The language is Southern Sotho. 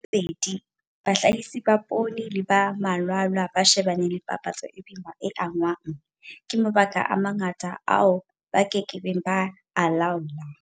Bedi, bahlahisi ba poone le ba malwala ba shebane le papatso e boima e angwang ke mabaka a mangata ao ba ke keng ba a laola.